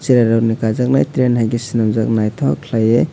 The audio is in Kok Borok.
cherai rok ni kaijaknai ai train enke swrung jaknai nythok khalei.